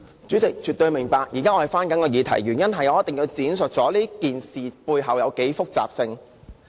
主席，絕對明白，我現在正要回到議題，而我一定要闡述這件事背後的複雜程度。